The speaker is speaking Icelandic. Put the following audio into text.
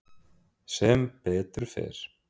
Sem betur fer